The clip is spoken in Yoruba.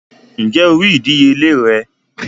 Ǹjé o rí ìdíyelé rẹ̀?